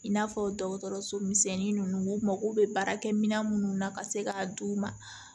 I n'a fɔ dɔgɔtɔrɔso misɛnnin ninnu u mago bɛ baarakɛ minɛ minnu na ka se k'a d'u ma